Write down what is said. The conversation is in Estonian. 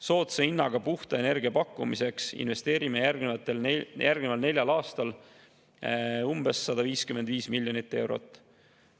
Soodsa hinnaga puhta energia pakkumiseks investeerime järgneval neljal aastal umbes 155 miljonit eurot.